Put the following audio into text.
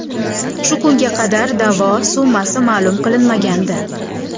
Shu kunga qadar da’vo summasi ma’lum qilinmagandi.